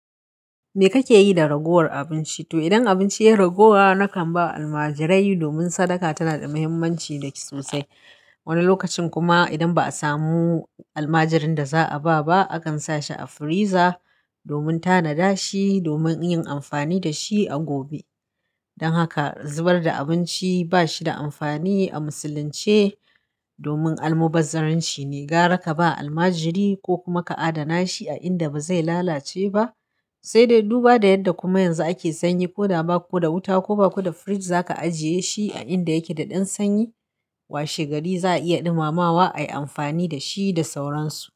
Me kake yi da ragowar abinci? To idan abinci ya raguwa, nakan ba almajirai domin sadaka tana da muhimmanci da ke sosai. Wani lokacin kuma idan ba a samu almajirin da za a ba ba, akan sa shi a firiza domin tanada shi domin yin amfani da shi a gobe. Don haka zubar da abinci ba shi da amfani a Musulunce domin almubazzaranci ne. Gara ka ba almajiri ko kuma ka adana shi a inda ba zai lalace ba, sai dai duba da yadda kuma yanzu ake sanyi, ko da ba ko da wuta ko ba ko da firij za ka ajiye shi a inda yake da ɗan sanyi, washe gari za a iya dumamawa ayi amfani da shi da sauransu.